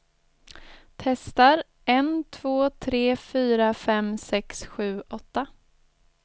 Testar en två tre fyra fem sex sju åtta.